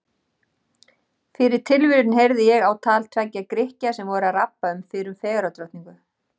Fyrir tilviljun heyrði ég á tal tveggja Grikkja sem voru að rabba um fyrrum fegurðardrottningu.